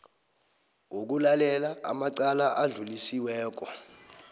wokulalela amacala adlulisiweko